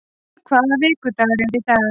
Herþrúður, hvaða vikudagur er í dag?